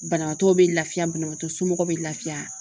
Banabaatɔ be lafiya banabagatɔ somɔgɔw be lafiya